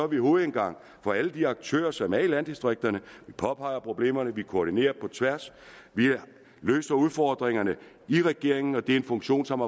vi hovedindgang for alle de aktører som er i landdistrikterne vi påpeger problemerne vi koordinerer på tværs vi løser udfordringerne i regeringen og det er en funktion som